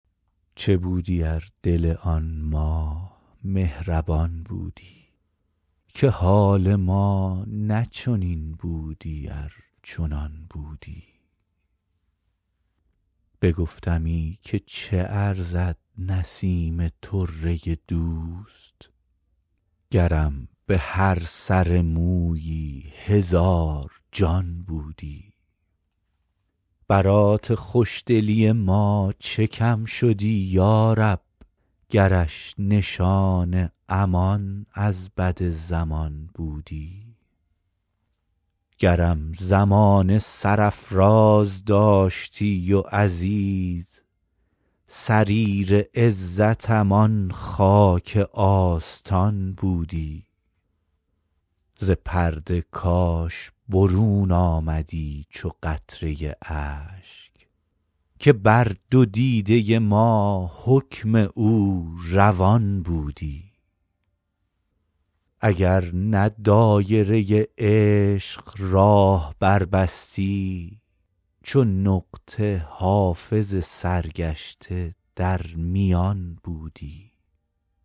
چه بودی ار دل آن ماه مهربان بودی که حال ما نه چنین بودی ار چنان بودی بگفتمی که چه ارزد نسیم طره دوست گرم به هر سر مویی هزار جان بودی برات خوش دلی ما چه کم شدی یا رب گرش نشان امان از بد زمان بودی گرم زمانه سرافراز داشتی و عزیز سریر عزتم آن خاک آستان بودی ز پرده کاش برون آمدی چو قطره اشک که بر دو دیده ما حکم او روان بودی اگر نه دایره عشق راه بربستی چو نقطه حافظ سرگشته در میان بودی